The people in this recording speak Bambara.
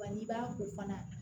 Wa n'i b'a ko fana